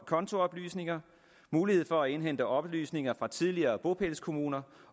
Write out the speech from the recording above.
kontooplysninger mulighed for at indhente oplysninger fra tidligere bopælskommuner